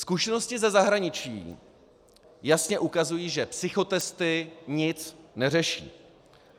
Zkušenosti ze zahraničí jasně ukazují, že psychotesty nic neřeší.